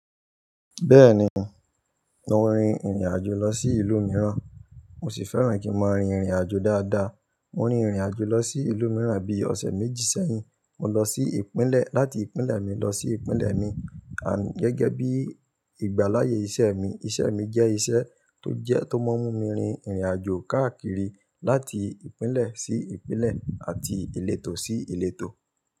Bẹ́ẹ̀ni, mo rin ìrìnàjò lọ sí ìlú mìíràn, mo sì fẹ́ràn kí mo rin ìrìnàjò dáadáa. Mo rin ìrìnàjò lọ sí ìlú mìíràn bí ọ̀sẹ̀ méjì sẹ́yìn. Mo lọ sí Ìpínlẹ̀, láti ìpínlẹ̀ mi lọ sí ìpínlẹ̀ mi. Gẹ́gẹ́ bí ìgbáláyé iṣẹ́ mi, iṣẹ́ mi jẹ́ iṣẹ́ tó jẹ tó máa ń mú mi rin ìrìnàjò káàkiri láti ìpínlẹ̀ sí ìpínlẹ̀ àti ìletò sí ìletò.